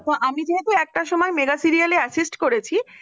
আমি যেহেতু একটা সময় mega serial assist করেছি ।